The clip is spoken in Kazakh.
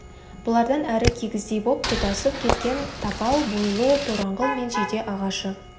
бұлардан әрі кигіздей боп тұтасып кеткен тапал бойлы тораңғыл мен жиде ағашы